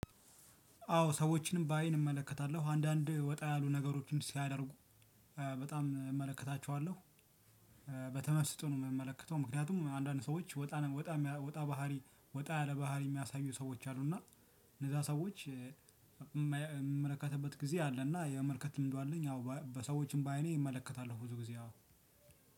አዎ ሰዎችን በአይን እመለከታለሁ። አንዳንድ ወጣ ያሉ ነገሮችን ሲያደርጉ በጣም እመለከታቸዋለሁ። በተመስጦ ነው የምመለከተው ምክንያቱም አንዳንድ ሰዎች ወጣ ወጣ ወጣ ባህሪ ወጣ ያለ ባህሪ የሚያሳዩ ሰዎች አሉ እና እነዛ ሰዎች የምመለከትበት ጊዜ አለ እና የመመልከት ልምዱ አለኝ አዎ በሰዎችም በአይኔ እመለከታለሁ ብዙ ጊዜ አዎ